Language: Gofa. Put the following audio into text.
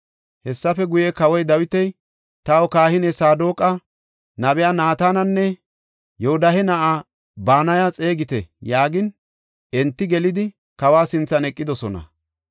Hessafe guye Kawoy Dawiti, “Taw kahiniya Saadoqa, nabiya Naatananne Yoodahe na7aa Banaya xeegite” yaagin, enti gelidi, kawa sinthan eqidosona.